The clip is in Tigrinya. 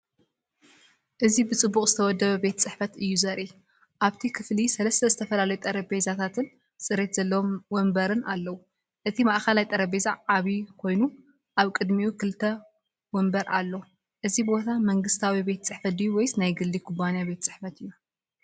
እዚ ብጽቡቕ ዝተወደበ ቤት ጽሕፈት እዩ ዘርኢ። ኣብቲ ክፍሊሰለስተ ዝተፈላለዩ ጠረጴዛታትን ጽሬት ዘለዎም መንበርን ኣለዉ። እቲ ማእከላይ ጠረጴዛ ዓቢ ኮይኑ ኣብ ቅድሚኡ ክልተ መንበር ኣሎ። እዚ ቦታ መንግስታዊ ቤት ጽሕፈት ድዩ ወይስ ናይ ግሊ ኩባንያ ቤት ጽሕፈት?